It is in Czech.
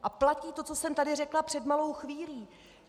A platí to, co jsem tedy řekla před malou chvílí.